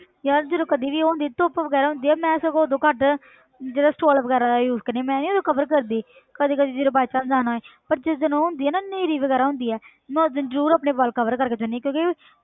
ਯਾਰ ਜਦੋਂ ਕਦੇ ਵੀ ਉਹ ਹੁੰਦੀ ਆ ਧੁੱਪ ਵਗ਼ੈਰਾ ਹੁੰਦੀ ਆ ਮੈਂ ਸਗੋਂ ਉਦੋਂ ਘੱਟ ਜ਼ਿਆਦਾ stall ਵਗ਼ੈਰਾ ਦਾ use ਕਰਦੀ ਹਾਂ ਮੈਂ ਨੀ ਉਦੋਂ cover ਕਰਦੀ ਕਦੀ ਕਦੀ ਜਦੋਂ by chance ਜਾਣਾ ਹੋਏ ਪਰ ਜਿਸ ਦਿਨ ਉਹ ਹੁੰਦੀ ਆ ਨਾ ਨੇਰੀ ਵਗ਼ੈਰਾ ਹੁੰਦੀ ਹੈ ਮੈਂ ਉਸ ਦਿਨ ਜ਼ਰੂਰ ਆਪਣੇ ਵਾਲ cover ਕਰਕੇ ਜਾਂਦੀ ਹਾਂ ਕਿਉਂਕਿ